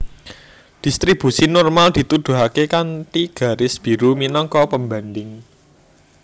Dhistribusi normal dituduhaké kanthi garis biru minangka pembandhing